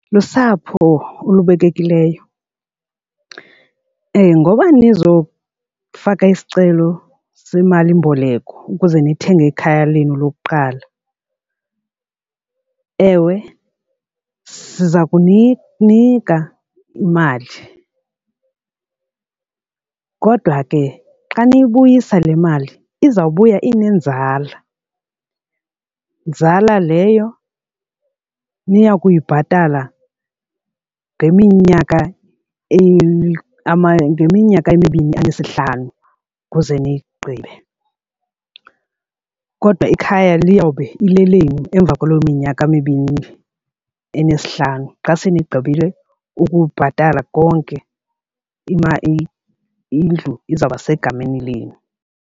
Lusapho olubekekileyo ngoba nizofaka isicelo semalimboleko ukuze nithenge ikhaya lenu lokuqala, ewe siza kuninika imali kodwa ke xa niyibuyisa le mali izawubuya inenzala nzala leyo niya kuyibhatala ngeminyaka ngeminyaka emibini enesihlanu ukuze niyigqibe. Kodwa ikhaya liyobe lilelenu emva kwaloo minyaka mibini enesihlanu xa senigqibile ukubhatala konke imali indlu izawuba isegameni lenu.